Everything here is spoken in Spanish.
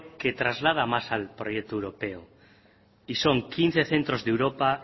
que traslada proyecto europeo y son quince centros de europa